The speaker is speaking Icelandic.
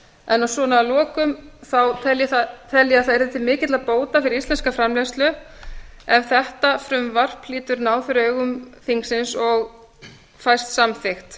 en svona að lokum tel ég að það yrði til mikilla bóta fyrir íslenska framleiðslu ef þetta frumvarp hlýtur náð fyrir augum þingsins og fæst samþykkt